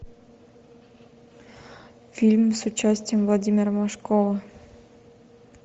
фильм с участием владимира машкова